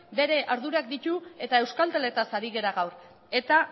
bere ardurak ditu eta euskalteletaz ari gara gaur eta